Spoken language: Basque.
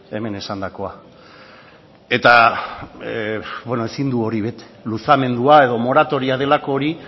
hemen esandakoa eta ezin du hori bete luzamendua edo moratoria delako hori